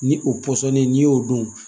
Ni o pɔsɔnni n'i y'o dɔn